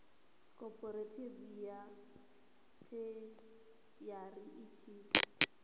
khophorethivi ya theshiari i tshi